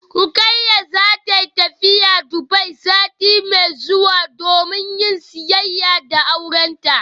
Rukayya zata tafi Dubai sati mai zuwa domin yin siyayya da aurenta